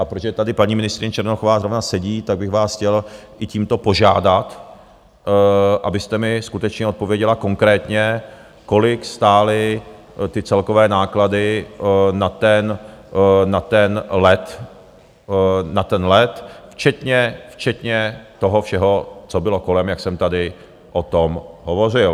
A protože tady paní ministryně Černochová zrovna sedí, tak bych vás chtěl i tímto požádat, abyste mi skutečně odpověděla konkrétně, kolik stály ty celkové náklady na ten let, včetně toho všeho, co bylo kolem, jak jsem tady o tom hovořil.